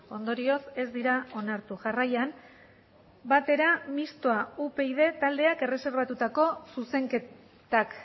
ondorioz ez dira onartu jarraian batera mistoa upyd taldeak erreserbatutako zuzenketak